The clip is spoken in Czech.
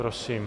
Prosím.